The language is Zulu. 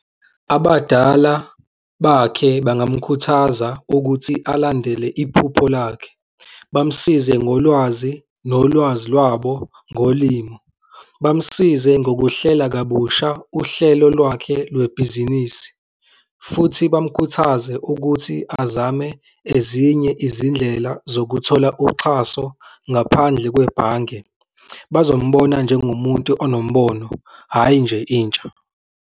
Abadala bakhe bangamkhuthaza ukuthi alandele iphupho lakhe, bamsize ngolwazi, nolwazi lwabo ngolimo, bamsize ngokuhlela kabusha uhlelo lwakhe lwebhizinisi futhi bamkhuthaze ukuthi azame ezinye izindlela zokuthola uxhaso ngaphandle kwebhange. Bazombona njengomuntu unombono, hhayi nje intsha.